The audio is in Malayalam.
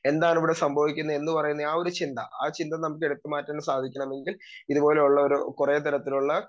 സ്പീക്കർ 2 എന്താണിവിടെ സംഭവിക്കുന്നെ എന്നുപറയുന്ന ആ ഒരു ചിന്ത. ആ ഒരു ചിന്ത ന മ്മക്ക്എടുത്തുമാറ്റാൻ സാധിക്കണമെങ്കിൽ ഇതുപോലുള്ള ഒരു കുറേ തരത്തിലുള്ള